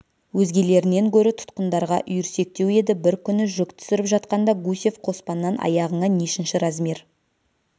өзгелерінен гөрі тұтқындарға үйірсектеу еді бір күні жүк түсіріп жатқанда гусев қоспаннан аяғыңа нешінші размер